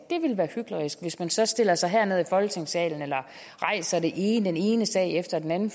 ville være hyklerisk altså hvis man så stiller sig herned i folketingssalen eller rejser den ene ene sag efter den anden